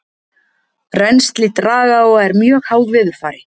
rennsli dragáa er mjög háð veðurfari